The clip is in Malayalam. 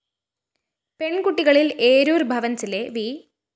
പെണ്‍കുട്ടികളില്‍ ഏരൂര്‍ ഭവന്‍സിലെ വി